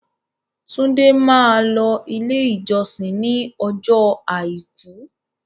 Túndé máa lọ ilé ìjọsìn ní ọjọ́ àìkú.